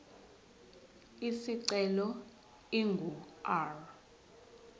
isicelo ingu r